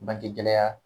Bangegɛlɛya